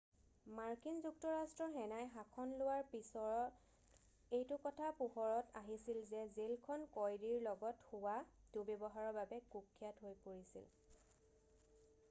মাৰ্কিন যুক্তৰাষ্ট্ৰৰ সেনাই শাসন লোৱাৰ পিছৰত এইটো কথা পোহৰত আহিছিল যে জেল খন কয়দীৰ লগত হোৱা দুৰ্ব্যৱহাৰৰ বাবে কুখ্যাত হৈ পৰিছিল